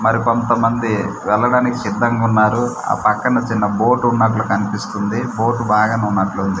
మరికొంతమంది వెళ్లడానికి సిద్ధంగా ఉన్నారు ఆ పక్కన చిన్న బోట్ ఉన్నట్లు కనిపిస్తుంది బోట్ బాగానే ఉన్నట్లుంది.